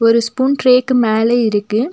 இந்த ஸ்பூன் ட்ரேக்கு மேல இருக்கு.